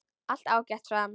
Allt ágætt, sagði hann.